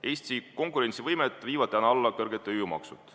Eesti konkurentsivõimet viivad täna alla kõrged tööjõumaksud.